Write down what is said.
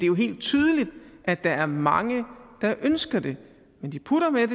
jo helt tydeligt at der er mange der ønsker det men de putter med